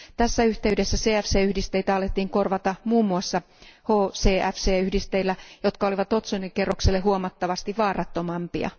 Tässä yhteydessä CFC yhdisteitä alettiin korvata muun muassa HCFC yhdisteillä, jotka olivat otsonikerrokselle huomattavasti vaarattomampia.